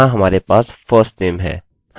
अतः यहाँ हमारे पास firstname है